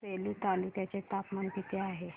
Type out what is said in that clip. आज सेलू तालुक्या चे तापमान किती आहे